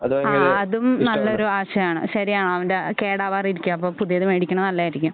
ആ അതും നല്ല ഒരു ആശയമാണ് ശരിയാണ് അവൻ്റെ കേടാകാതെ ഇരിക്കാ അപ്പോ പുതിയത് മേടിക്കണത് നല്ലയായിരിക്കും